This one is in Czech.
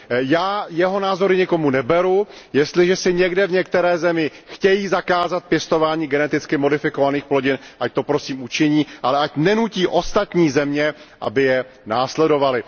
Já jeho názory nikomu neberu, jestliže si někdy v některé zemi chtějí zakázat pěstování geneticky modifikovaných plodin, ať to prosím učiní, ale ať nenutí ostatní země, aby je následovaly.